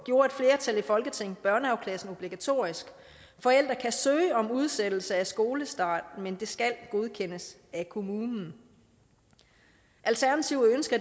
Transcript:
gjorde et flertal i folketinget børnehavepladsen obligatorisk forældre kan søge om udsættelse af skolestart men det skal godkendes af kommunen alternativet ønsker